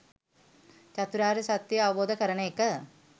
චතුරාර්ය සත්‍ය අවබෝධ කරන එක